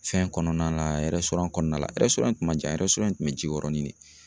Fɛn kɔnɔna la kɔnɔna la kun man jan kun be jiyɔrɔ ni